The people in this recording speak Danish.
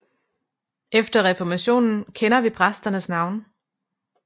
Efter reformationen kender vi præsternes navne